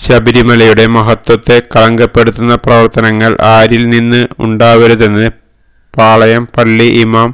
ശബരിമലയുടെ മഹത്വത്തെ കളങ്കപ്പെടുത്തുന്ന പ്രവര്ത്തനങ്ങള് ആരില് നിന്നും ഉണ്ടാവരുതെന്ന് പാളയം പള്ളി ഇമാം